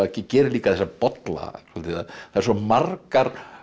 gerir líka þessa bolla að það eru svo margar